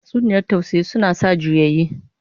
Tatsuniyar tausayi suna sa juyayi